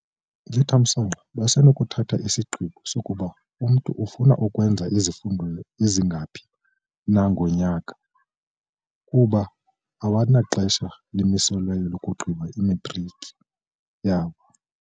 "Ngethamsanqa, basenokuthatha isigqibo sokuba umntu ufuna ukwenza izifundo ezingaphi na ngonyaka kuba abanaxesha limiselweyo lokugqiba imatriki yabo."